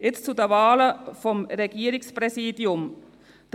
Jetzt zu den Wahlen des Regierungspräsidiums: